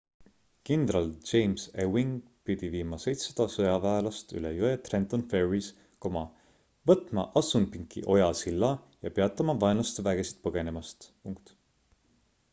kindral james ewing pidi viima 700 sõjaväelast üle jõe trenton ferrys võtma assunpinki oja silla ja peatama vaenlaste vägesid põgenemast